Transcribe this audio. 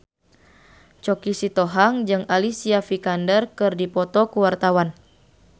Choky Sitohang jeung Alicia Vikander keur dipoto ku wartawan